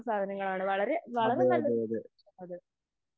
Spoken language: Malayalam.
അതെ അതെ അതെ.